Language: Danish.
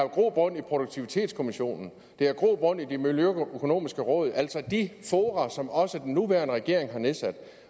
grobund i produktivitetskommissionen det har grobund i det miljøøkonomiske råd altså de fora som også den nuværende regering har nedsat